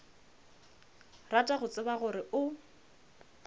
rata go tseba gore o